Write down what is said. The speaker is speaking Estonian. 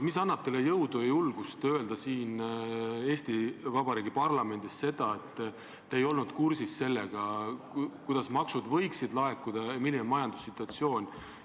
Mis annab teile jõudu ja julgust öelda Eesti Vabariigi parlamendis seda, et te ei olnud kursis sellega, kuidas maksud võiksid laekuda ja milline on majandussituatsioon?